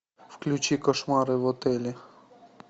включи кошмары в отеле